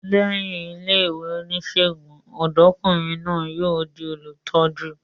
Lẹ́yìn ilé ìwé onísègùn, ọ̀dọ́kùnrin náà yóò di olùtọ́jú